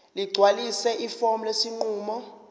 ligcwalise ifomu lesinqumo